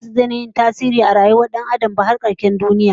Mata baza su daina yin tasiri a rayuwar Dan Adam ba har karshen duniya